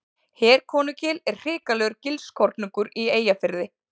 Herkonugil er hrikalegur gilskorningur í Eyjafirði.